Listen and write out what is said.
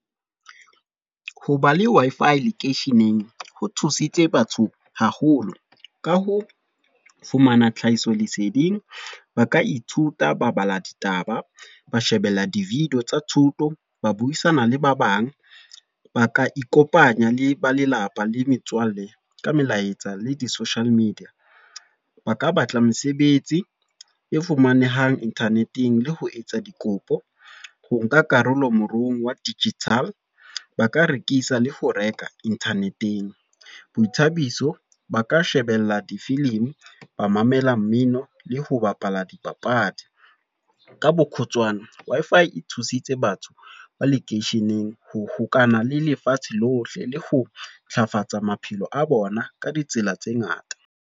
Hoba le Wi-Fi lekeisheneng, ho thusitse batho haholo. Ka ho fumana tlhahisoleseding. Ba ka ithuta ba bala ditaba, ba shebella di-video tsa thuto, ba buisana le ba bang. Ba ka ikopanya le ba lelapa le metswalle, ka melaetsa le di-social media. Ba ka batla mesebetsi e fumanehang internet-eng, le ho etsa dikopo ho nka karolo moruong wa digital. Ba ka rekisa le ho reka internet-eng. Boithabiso, ba ka shebella difilimi, ba mamela mmino le ho bapala dipapadi. Ka bokgutshwane, Wi-Fi e thusitse batho ba lekeisheneng ho hokahana le lefatshe lohle. Le ho ntlafatsa maphelo a bona ka ditsela tse ngata.